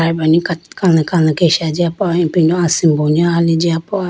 ayma kat kali kali kesha jiya po ipindo asimbo ni hali jiyapo.